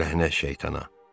Ləhnət şeytana.